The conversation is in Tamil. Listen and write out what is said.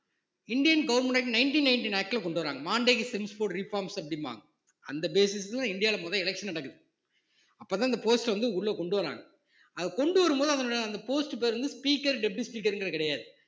Indian government act nineteen nineteen act ல கொண்டு வர்றாங்க அப்படிம்பாங்க அந்த basis லதான் இந்தியாவுல முதல் election நடக்குது அப்பதான் இந்த post வந்து உள்ள கொண்டு வராங்க அத கொண்டு வரும்போது அதனுடைய அந்த post பேரு வந்து speaker deputy speaker ங்கிறது கிடையாது